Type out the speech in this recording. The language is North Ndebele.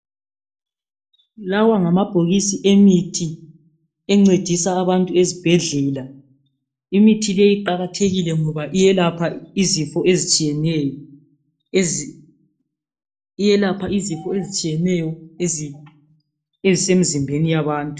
Lawa ngamabhokisi emithi, encedisa abantu ezibhedlela. Imithi leyi iqakathekile ngoba iyelapha izifo ezitshiyeneyo, ezi...lyelapha izifo ezitshiyeneyo , ezi... ezisemzimbeni yabantu.